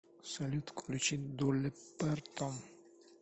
салют включи долли партон